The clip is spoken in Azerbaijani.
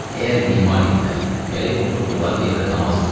Əgər bimar idilər, gərək oturduqları yerdə namaz qılardılar.